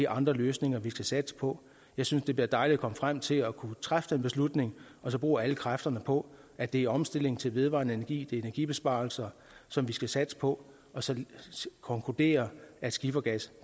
andre løsninger vi skal satse på jeg synes det bliver dejligt at komme frem til at kunne træffe den beslutning og bruge alle kræfterne på at det er omstilling til vedvarende energi det er energibesparelser som vi skal satse på og så konkludere af skifergas